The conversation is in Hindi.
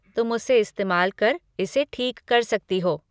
तुम उसे इस्तेमाल कर इसे ठीक कर सकती हो।